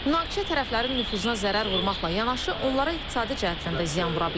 Münaqişə tərəflərin nüfuzuna zərər vurmaqla yanaşı, onlara iqtisadi cəhətdən də ziyan vura bilər.